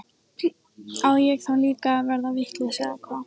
Á ég þá líka að verða vitlaus eða hvað?